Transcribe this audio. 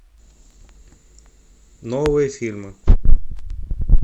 новые фильмы